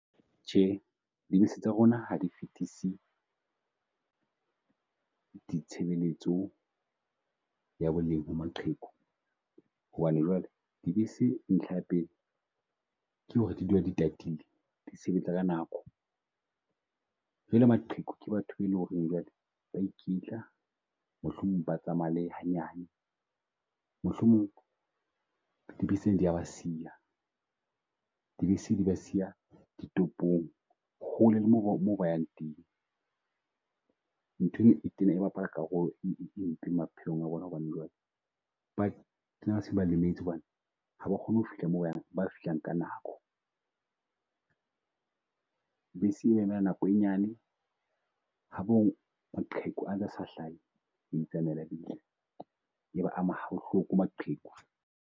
Tjhe, dibese tsa rona ha di fetise di tshebeletso ua boleng ba maqheku hobane jwale dibese ntlha ya pele ke ho re di dula di tatile, di sebetsa ka nako jwale maqheku ke batho e le ho reng Jwale. Ba e kitla mohlomong ba tsamaya le hanyane, mohlomong dibese di ya ba siya, dibese di ba siya ditopong hole le mo mo ba yang teng. Nthwe e tena e bapala karolo e mpe maphelong a bona, hobane jwale tena se ba lemetse hobane ha ba kgone ho fihla mo ba, ba fihlang ka nako. Bese e ema nako e nyane maqheku a ntsa sa hlahe, ya itsamaela bese. E ba ama ha bohloko maqheku.